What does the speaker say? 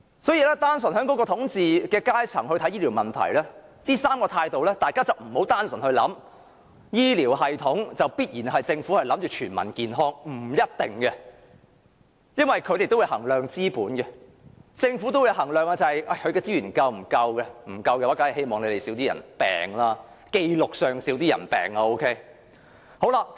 所以，單純從統治階層角度來看待醫療問題的上述3種取態，大家不要以為政府必然希望全民健康，這並不一定，因為當局須衡量資本和資源是否足夠，如果並不足夠，則當然希望在紀錄上有較少人患病。